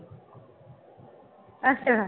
ਅੱਛਾ।